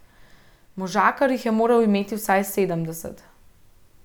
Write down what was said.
Možakar jih je moral imeti vsaj sedemdeset.